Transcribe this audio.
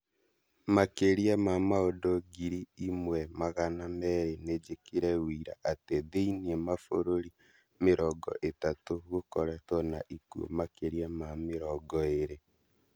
Makĩrĩa ma maũndũ ngiri imwe magana merĩ nĩnjĩkĩre wũira atĩ thĩinĩ mabũrũri mĩrongo ĩtatũ gũkoretwo na ikuũ makĩria ma mĩrongo ĩrĩ